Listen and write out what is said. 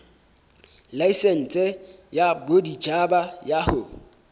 laesense ya boditjhaba ya ho